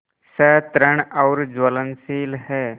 सतृष्ण और ज्वलनशील है